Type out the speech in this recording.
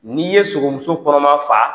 N'i ye sogomuso kɔnɔma faa.